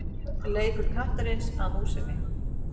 Leikur kattarins að músinni.